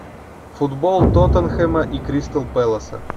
футбол тоттенхэма и кристал пэласа